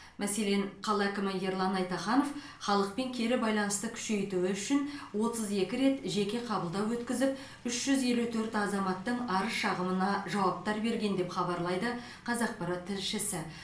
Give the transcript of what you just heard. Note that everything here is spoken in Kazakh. мәселен қала әкімі ерлан айтаханов халықпен кері байланысты күшейтуі үшін отыз екі рет жеке қабылдау өткізіп үш жүз елу төрт азаматтың арыз шағымына жауаптар берген деп хабарлайды қазақпарат тілшісі